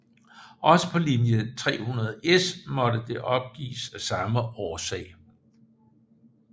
Også på linje 300S måtte det opgives af samme årsag